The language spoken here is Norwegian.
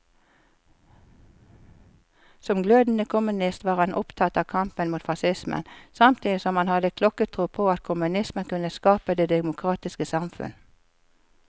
Som glødende kommunist var han opptatt av kampen mot facismen, samtidig som han hadde klokketro på at kommunismen kunne skape det demokratiske samfunn.